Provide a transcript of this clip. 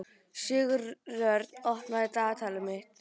Sigurörn, opnaðu dagatalið mitt.